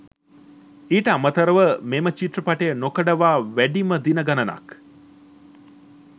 ඊට අමතරව මෙම චිත්‍රපටය නොකඩවා වැඩිම දින ගණනක්